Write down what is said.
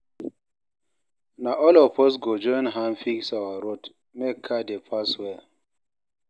Na all of us go join hand fix our road make car dey pass well.